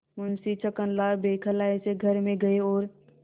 मुंशी छक्कनलाल बौखलाये से घर में गये और